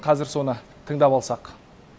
қазір соны тыңдап алсақ